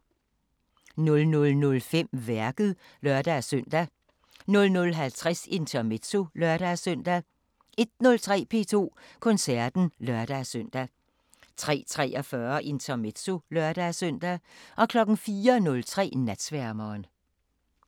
00:05: Værket (lør-søn) 00:50: Intermezzo (lør-søn) 01:03: P2 Koncerten (lør-søn) 03:43: Intermezzo (lør-søn) 04:03: Natsværmeren